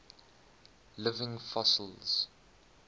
living fossils